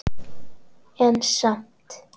En samt